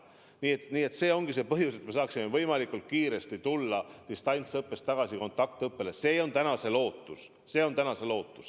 Piirangu eesmärk ongi, et me saaksime võimalikult kiiresti distantsõppelt tagasi kontaktõppele minna, see on tänane lootus.